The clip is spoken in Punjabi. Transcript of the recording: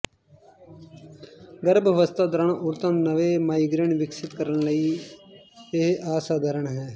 ਗਰਭ ਅਵਸਥਾ ਦੌਰਾਨ ਔਰਤਾਂ ਨੂੰ ਨਵੇਂ ਮਾਈਗਰੇਨ ਵਿਕਸਤ ਕਰਨ ਲਈ ਇਹ ਅਸਾਧਾਰਨ ਹੈ